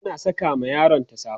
tana Saka ma yaronta safa